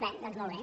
bé doncs molt bé